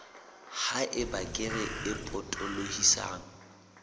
ha eba kere e potolohisang